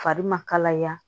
Fari ma kalaya